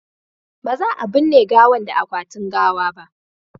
ba za a binne gawan da akwatin gawa ba